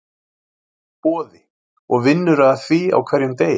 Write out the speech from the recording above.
Boði: Og vinnurðu að því á hverjum degi?